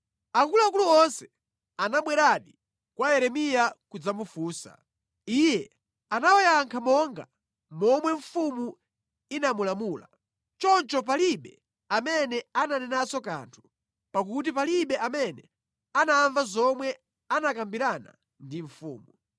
Akuluakulu onse anabweradi kwa Yeremiya kudzamufunsa. Iye anawayankha monga momwe mfumu inamulamula. Choncho palibe amene ananenanso kanthu, pakuti palibe amene anamva zomwe anakambirana ndi mfumu.